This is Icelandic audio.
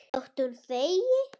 Þótt hún þegi.